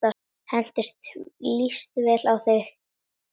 Henni líst vel á þig.